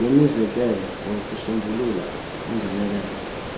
wemizekelo wokusombulula ungenelelo